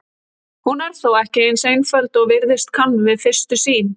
Hún er þó ekki eins einföld og virðast kann við fyrstu sýn.